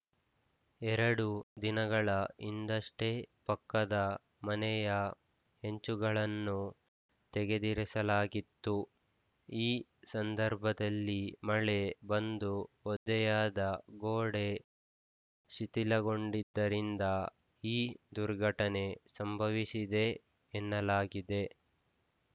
ಎರಡು ದಿನಗಳ ಹಿಂದಷ್ಟೇ ಪಕ್ಕದ ಮನೆಯ ಹೆಂಚುಗಳನ್ನು ತೆಗೆದಿರಿಸಲಾಗಿತ್ತು ಈ ಸಂದರ್ಭದಲ್ಲಿ ಮಳೆ ಬಂದು ಒದ್ದೆಯಾದ ಗೋಡೆ ಶಿಥಿಲಗೊಂಡಿದ್ದರಿಂದ ಈ ದುರ್ಘಟನೆ ಸಂಭವಿಸಿದೆ ಎನ್ನಲಾಗಿದೆ